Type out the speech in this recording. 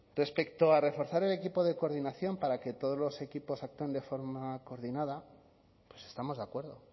respecto a reforzar el equipo de coordinación para que todos los equipos actúen de forma coordinada pues estamos de acuerdo